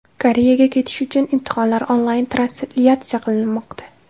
Koreyaga ketish uchun imtihonlar onlayn translyatsiya qilinmoqda.